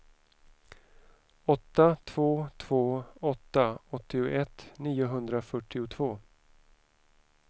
åtta två två åtta åttioett niohundrafyrtiotvå